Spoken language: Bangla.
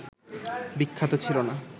বিখ্যাত ছিল না